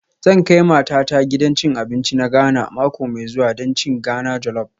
Zan kai matata gidan cin abinci na Ghana mako mai zuwa don cin Ghana jollop